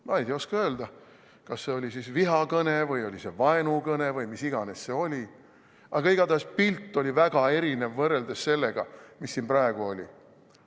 Ma ei oska öelda, kas see oli vihakõne või oli see vaenukõne või mis iganes see oli, aga igatahes pilt oli väga erinev võrreldes sellega, mis siin praegu oli.